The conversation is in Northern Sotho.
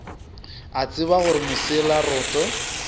a tseba gore mosela roto